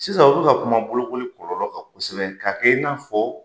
Sisan ɔ bɛ ka kuma bolokoli kɔlɔlɔ kan kosɛbɛ, ka kɛ i n'a fɔ,